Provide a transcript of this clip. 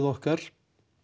okkar